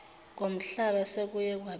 ngomhlaba sekuye kwabeka